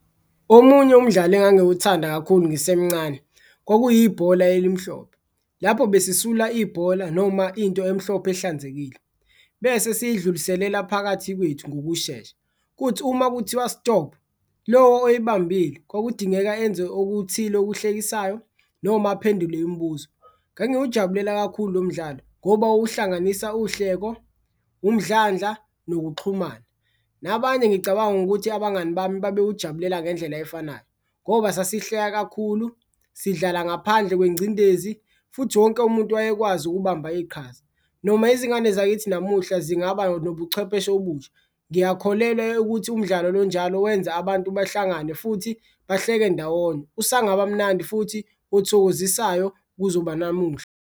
Omunye umdlalo engangiwuthanda kakhulu ngisemncane kwakuyibhola elimhlophe lapho besisula ibhola noma into emhlophe ehlanzekile, bese siyidluliselela phakathi kwethu ngokushesha kuthi uma ukuthiwa-stop lo oyibambile kwakudingeka enze okuthile okuhlekisayo noma aphendule imibuzo. Ngangiwujabulela kakhulu lo mdlalo ngoba wawuhlanganisa uhleko, umdlandla nokuxhumana, nabanye ngicabanga ukuthi abangani bami babewujabulela ngendlela efanayo ngoba sasihleka kakhulu, sidlala ngaphandle kwengcindezi futhi wonke umuntu wayekwazi ukubamba iqhaza. Noma izingane zakithi namuhla zingaba nobuchwepheshe obusha ngiyakholelwa ekuthi umdlalo lo onjalo wenza abantu bahlangane futhi bahleke ndawonye, usangaba mnandi futhi uthokozisayo kuzoba namuhla.